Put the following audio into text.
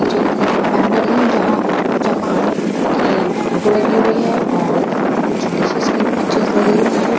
पीछे एक तरफ एक बैनर है जहां जापान की फोटो लगी हुई है और कुछ डिशेस के भी पिक्चर लगे हुए हैं --